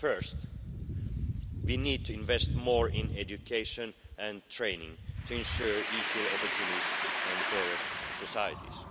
First, we need to invest more in education and training to ensure equal opportunities and fairer societies.